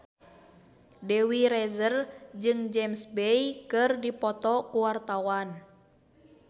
Dewi Rezer jeung James Bay keur dipoto ku wartawan